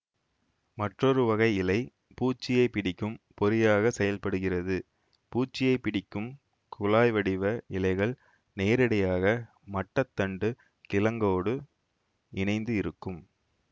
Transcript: மற்றொரு வகை இலை பூச்சியை பிடிக்கும் பொறியாகச் செயல்படுகிறதுபூச்சியைப் பிடிக்கும் குழாய் வடிவ இலைகள் நேரடியாக மட்ட தண்டு கிழங்கோடு இணைந்து இருக்கும்